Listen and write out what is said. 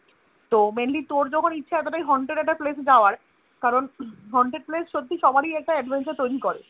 তো Mainly তোর যখন ইচ্ছা এতোটাই Haunted একটা Place এ যাওয়ার কারন Haunted place সত্যি সবারই একটা Adventure তৈরী করে